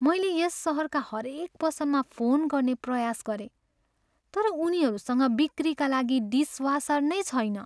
मैले यस सहरका हरेक पसलमा फोन गर्ने प्रयास गरेँ, तर उनीहरूसँग बिक्रीका लागि डिसवासर नै छैन।